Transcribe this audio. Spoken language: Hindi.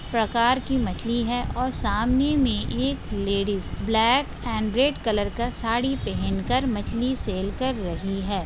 प्रकार की मछली है और सामने में एक ladies black and red colour का साड़ी पहन कर मछली सेल कर रही है।